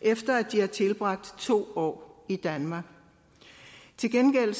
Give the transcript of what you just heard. efter at de har tilbragt to år i danmark til gengæld